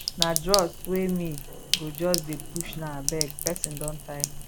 na drugs wey me go just dey push now abeg person don tire